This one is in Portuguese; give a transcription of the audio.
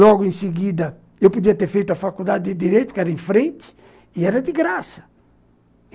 Logo em seguida, eu podia ter feito a faculdade de Direito, que era em frente, e era de graça.